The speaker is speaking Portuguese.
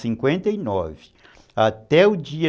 de cinquenta e nove, até o dia